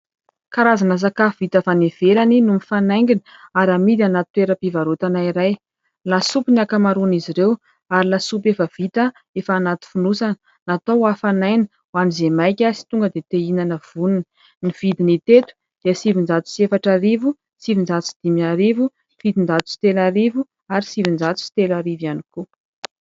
Karazana sakafo vita avy any ivelany no mifanaingina ary amidy anaty toeram-pivarotana iray. Lasopy ny ankamaroan'izy ireo ary lasopy efa vita efa anaty fonosana. Natao ho hafanaina ho an'izay maika sy tonga dia te hihinana vonona. Ny vidiny hita eto dia sivinjato sy efatra arivo, sivinjato sy dimy arivo, fitonjato sy telo arivo ary sivinjato sy telo arivo ihany koa.